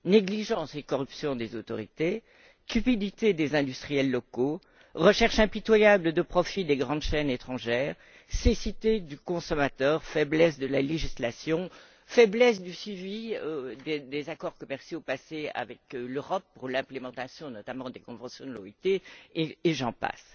Négligence et corruption des autorités, cupidité des industriels locaux, recherche impitoyable de profits des grandes chaînes étrangères, cécité du consommateur, faiblesse de la législation, médiocrité du suivi des accords commerciaux passés avec l'Europe pour la mise en œuvre, notamment, des conventions de l'OIT, et j'en passe...